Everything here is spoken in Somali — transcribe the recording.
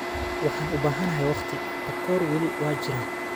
“Waxaan u baahanahay waqti, takoor weli waa jira.